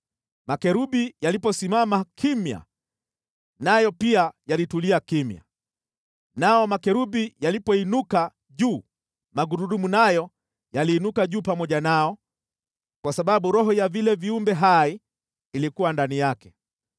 Makerubi yaliposimama kimya, nayo pia yalitulia kimya, nao makerubi yalipoinuka juu, magurudumu nayo yaliinuka juu pamoja nao, kwa sababu roho ya vile viumbe hai ilikuwa ndani yake.